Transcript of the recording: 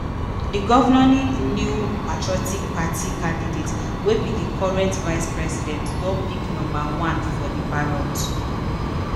di governing new patriotic party candidate wey be di current vice president don pick number one for di ballot.